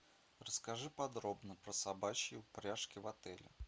расскажи подробно про собачьи упряжки в отеле